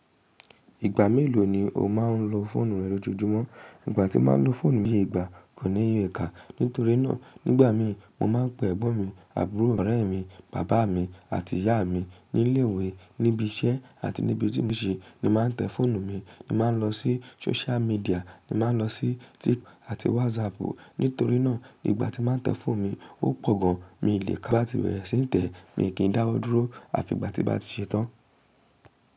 Ìgbà mélòó ni o máa ń lo fóònù rẹ lójoojúmọ́? Ìgbà tí màá ń lo fóònù mi ní ìgbà kò níye iká. Nítorínà nígbà mí mo máa ń pe ẹ̀gbọ́n mi, àbúrò, ọ̀rẹ́ mi, bàbá mi àti ìyá mi nílé ìwé, níbi iṣẹ́ àti níbi tí mò ń ṣe ni màá tẹ fóònù mi. Ni màá lọ sí social media, ni màá lọ sí TikTok àti WhatsApp. Nítorínà ìgbà tí màá tẹ fóònù mi ó pọ̀ gan-an, mi ò lè ka tí n bá ti bẹ̀rẹ̀ sí ní tẹ, mi kì í dáwọ́ dúró àfi ìgbà tí bàá ṣe tán.